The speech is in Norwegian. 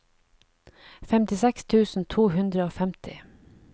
femtiseks tusen to hundre og femti